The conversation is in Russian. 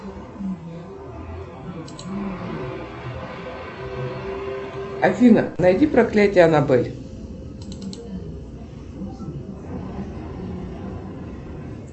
афина найди проклятие анабель